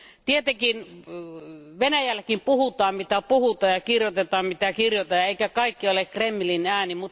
Tietenkin Venäjälläkin puhutaan mitä puhutaan ja kirjoitetaan mitä kirjoitetaan, eikä kaikki ole Kremlin ääntä.